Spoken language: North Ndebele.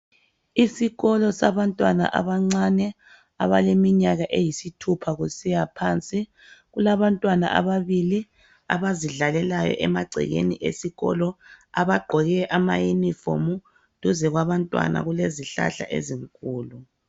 Isikolo sabantwana abancane abaleminyaka eyisithupha kusiya phansi kulabantwana ababili abazidlalelayo emagcekeni esikolo abagqoke amaunifomu duze kwabantwana kulezihlahla izinkulu.